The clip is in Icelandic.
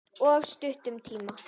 Of stuttum tíma.